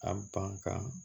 A ban kan